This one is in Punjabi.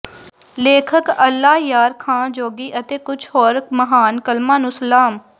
ਲੇਖਕ ਅੱਲਾ ਯਾਰ ਖਾਂ ਜੋਗੀ ਅਤੇ ਕੁਝ ਹੋਰ ਮਹਾਨ ਕਲਮਾਂ ਨੂੰ ਸਲਾਮ